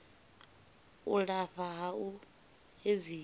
u lafha ha u edzisa